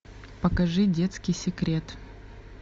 покажи детский секрет